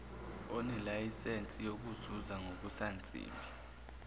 onelayisensi yokuzuza ngokusansimbi